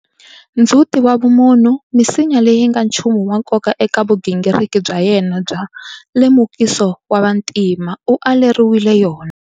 Ndzhuti wa vumunhu, misinya leyi nga nchumu wa nkoka eka vugingiriki bya yena bya lemukiso wa vantima, u aleriwile yona.